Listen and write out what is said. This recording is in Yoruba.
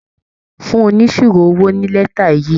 Fún oníṣirò owó ní létà yìí.